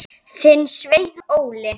Þinn, Sveinn Óli.